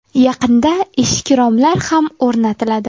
Yaqinda eshik-romlar ham o‘rnatiladi.